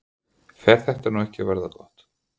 Fer þetta nú ekki að verða gott?